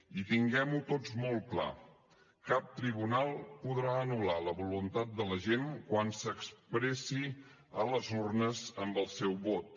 i tinguem ho tots molt clar cap tribunal podrà anul·lar la voluntat de la gent quan s’expressi a les urnes amb el seu vot